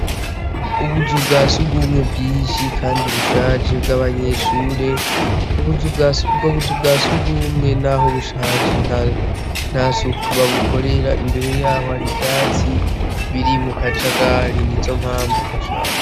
Ubuzu bwa siugumwe bwishi, kandi ubushaje bw'abanyeshure ubwo buzu bwa si ugumwe, naho bushaje nta sukubabukorera imbere yaho hari vyatsi biri mu kajagali ni zo mpamvu hashaje.